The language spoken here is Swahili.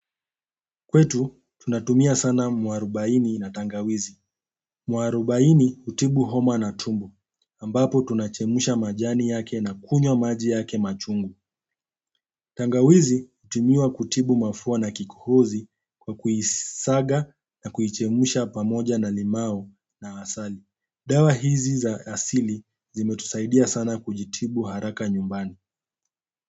Kwetu tunatumia sana mwarobaini na tangawizi. Mwarobaini hutibu homa na tumbo ambapo tunachemsha majani yake na kunywa maji yake machungu tangawizi hutumiwa kutibu mafua na kikohozi kwa kuisaga na kuichemsha pamoja na limau na asali. Dawa hizi za asili zimetusaidia sana kujitibu haraka nyumbani.